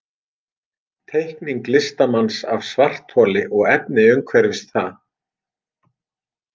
Teikning listamanns af svartholi og efni umhverfis það.